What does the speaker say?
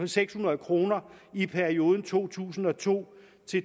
seks hundrede kroner i perioden to tusind og to